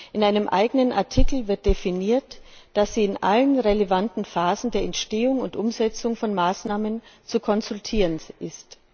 In einem eigenen Artikel wird definiert, dass sie in allen relevanten Phasen der Entstehung und Umsetzung von Maßnahmen zu konsultieren ist.